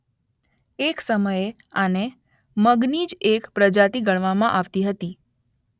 એક સમયે આને મગની જ એક પ્રજાતી ગણાવામાં આવતી હતી